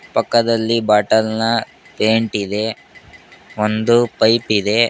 ಪಕ್ಕದಲ್ಲಿ ಬಾಟಲ್ ನ ಪೇಂಟ್ ಇದೆ ಒಂದು ಪೈಪ್ ಇದೆ.